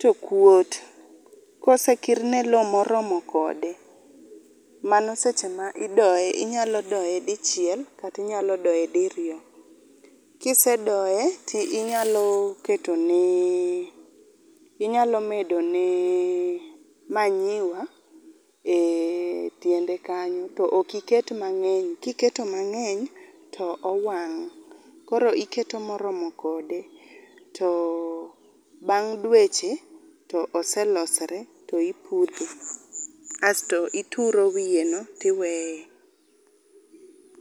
to kuot. Kosekirne loo moromo kode manos eche ma idoye, inyalo doye dichiel kata inyalo doye diriyo. Kisedoye tinyalo ketone, inyalo medone manyuwa e tiende kanyo to ok iket mangeny, iketo mangeny to owang koro iketo moromo kode to bang dweche to oselosore to ipudhe asto ituro wiye no tiweye.